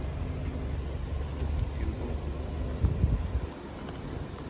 Ockelbo